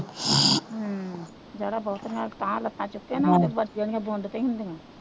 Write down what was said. ਹੂੰ ਜ਼ਿਆਦਾ ਬਹੁਤੀਆ ਉਤਾਂਹ ਲੱਤਾਂ ਚੁੱਕੇ ਨਾ, ਵੱਜਣੀਆਂ ਤੇ ਹੀ ਹੁੰਦੀਆਂ,